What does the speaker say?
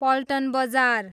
पल्टन बजार